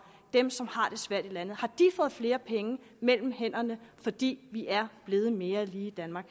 dem som har det svært i landet har de fået flere penge mellem hænderne fordi vi er blevet mere lige i danmark